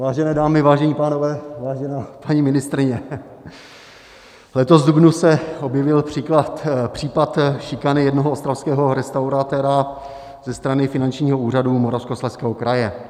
Vážené dámy, vážení pánové, vážená paní ministryně, letos v dubnu se objevil případ šikany jednoho ostravského restauratéra ze strany Finančního úřadu Moravskoslezského kraje.